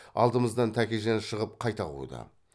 алдымыздан тәкежан шығып қайта қуды